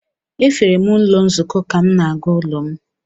Efere m ụlọ nzukọ ka m na-aga n’ụlọ m.